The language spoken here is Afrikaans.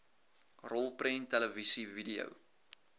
rolprent televisie video